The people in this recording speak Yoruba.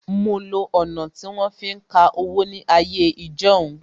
Mo lo ọ̀nà tí wọ́n fi ń ka owó ní ayé ijọ́hun